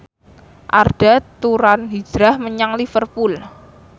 Arda Turan hijrah menyang Liverpool